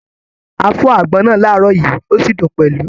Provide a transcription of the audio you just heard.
A fọ́ àgbọn náà láàárọ̀ yìí, o sí dùn pẹlú